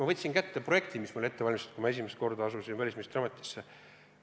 Ma võtsin kätte projekti, mis meil oli ette valmistatud, kui ma asusin välisministri ametisse.